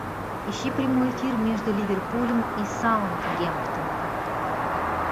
ищи прямой эфир между ливерпулем и саутгемптон